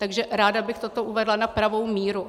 Takže ráda bych toto uvedla na pravou míru.